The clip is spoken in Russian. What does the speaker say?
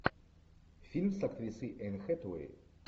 фильм с актрисой энн хэтэуэй